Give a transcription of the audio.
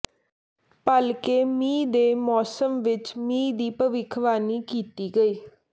ਭਲਕੇ ਮੀਂਹ ਦੇ ਮੌਸਮ ਵਿੱਚ ਮੀਂਹ ਦੀ ਭਵਿੱਖਬਾਣੀ ਕੀਤੀ ਗਈ